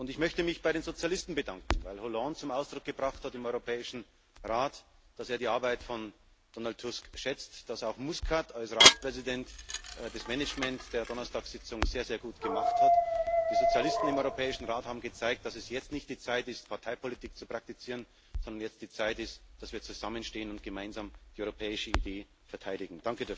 Und ich möchte mich bei den Sozialisten bedanken, weil Präsident Hollande im Europäischen Rat zum Ausdruck gebracht hat, dass er die Arbeit von Donald Tusk schätzt, dass auch Muscat als Ratspräsident das Management der Donnerstagssitzung sehr, sehr gut gemacht hat. Die Sozialisten im Europäischen Rat haben gezeigt, dass jetzt nicht die Zeit ist, Parteipolitik zu praktizieren, sondern jetzt ist die Zeit, dass wir zusammenstehen und gemeinsam die europäische Idee verteidigen.